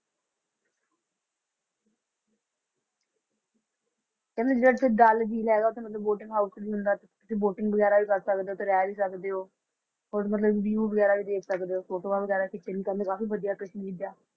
ਕਹਿੰਦੇ ਜਿਹੜਾ ਉੱਥੇ ਡੱਲ ਝੀਲ ਹੈਗਾ ਉੱਥੇ ਮਤਲਬ boating house ਵੀ ਹੁੰਦਾ, ਤੁਸੀਂ boating ਵਗ਼ੈਰਾ ਵੀ ਕਰ ਸਕਦੇ ਹੋ ਤੇ ਰਹਿ ਵੀ ਸਕਦੇ ਹੋ, ਹੋਰ ਮਤਲਬ view ਵਗ਼ੈਰਾ ਵੀ ਦੇਖ ਸਕਦੇ ਹੋ ਫੋਟੋਆਂ ਵਗ਼ੈਰਾ ਖਿੱਚਣ ਕਰਨ ਲਈ ਕਾਫ਼ੀ ਵਧੀਆ ਕਸ਼ਮੀਰ ਜਾ